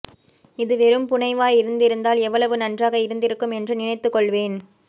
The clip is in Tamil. இது வெறும் புனைவாய் இருந்திருந்தால் எவ்வளவு நன்றாக இருந்திருக்கும் என்று நினைத்துக் கொள்வேன்